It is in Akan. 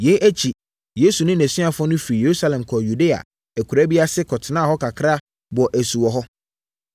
Yei akyi, Yesu ne nʼasuafoɔ no firii Yerusalem kɔɔ Yudea akuraa bi ase kɔtenaa hɔ kakra bɔɔ asu wɔ hɔ.